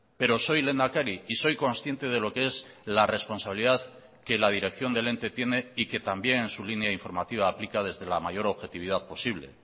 pero soy lehendakari y soy consciente de lo que es la responsabilidad que la dirección del ente tiene y que también en su línea informativa aplica desde la mayor objetividad posible